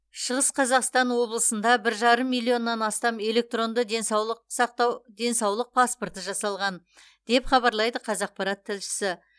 шығыс қазақстан облысында бір жарым миллионнан астам электронды денсаулық сақтау денсаулық паспорты жасалған деп хабарлайды қазақпарат тілшісі